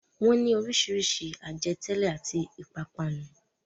Wọ́n ní oríṣiríṣi àjẹtẹ́lẹ̀ àti ìpápánu.